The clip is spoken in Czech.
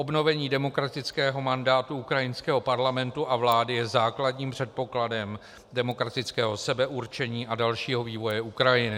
Obnovení demokratického mandátu ukrajinského parlamentu a vlády je základním předpokladem demokratického sebeurčení a dalšího vývoje Ukrajiny.